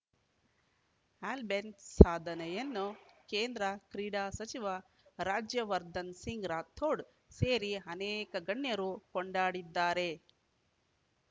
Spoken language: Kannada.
ಆಲ್ಬೆನ್‌ ಸಾಧನೆಯನ್ನು ಕೇಂದ್ರ ಕ್ರೀಡಾ ಸಚಿವ ರಾಜ್ಯವರ್ಧನ್‌ ಸಿಂಗ್‌ ರಾಥೋಡ್‌ ಸೇರಿ ಅನೇಕ ಗಣ್ಯರು ಕೊಂಡಾಡಿದ್ದಾರೆ